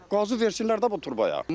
Qazı versinlər də bu turbaya.